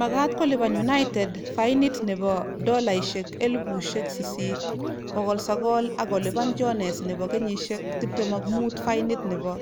Magaat kolipan united fainit nebo �8,900, ak kolipan jones nebo kenyishek 25 fainit nebo